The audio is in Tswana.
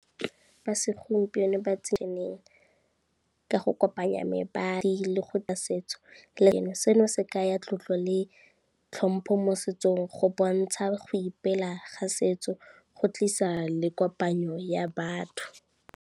Ba segompieno ba tsene ka go kopanya mebadi le go setso, seno se kaya tlotlo le tlhompho mo setsong go bontsha go ipela ga setso, go tlisa le kopanyo ya batho.